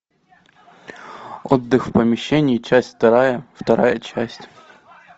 отдых в помещении часть вторая вторая часть